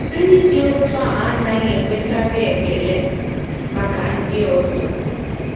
Ndị dị otú ahụ anaghị enwekarị ekele maka ndị ọzọ.